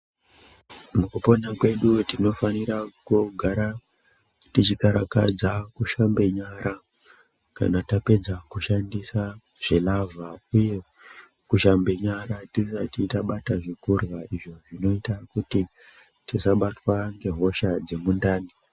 Mukupona kwedu tinofanira kugara tichikarakadza kushamba nyara kana tapedza kushandisa zvilavha uye kushamba nyara tisati tabata zvekurya izvo zvinoita kuti tisabatwa ngehosha dzemundani.